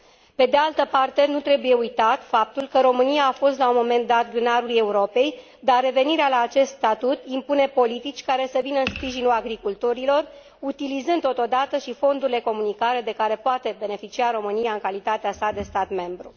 Pe de altă parte, nu trebuie uitat faptul că România a fost la un moment dat grânarul Europei, dar revenirea la acest statut impune politici care să vină în sprijinul agricultorilor, utilizând totodată și fondurile comunitare de care poate beneficia România în calitatea sa de stat membru.